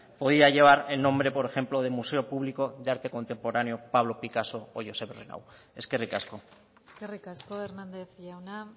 podía llevar el nombre por ejemplo de museo público de arte contemporáneo pablo picasso o josep renau eskerrik asko eskerrik asko hernández jauna